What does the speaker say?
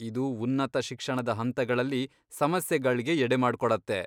ಇದು ಉನ್ನತ ಶಿಕ್ಷಣದ ಹಂತಗಳಲ್ಲಿ ಸಮಸ್ಯೆಗಳ್ಗೆ ಎಡೆಮಾಡ್ಕೊಡತ್ತೆ.